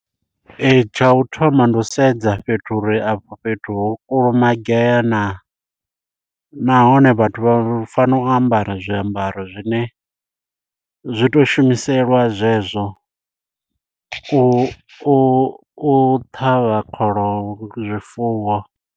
Ee tsha u thoma ndi u sedza fhethu uri afho fhethu ho kulumagea naa. Nahone vhathu vha fanela u ambara zwiambaro zwine zwi to shumiselwa zwezwo u u u u ṱhavha kholomo zwifuwo.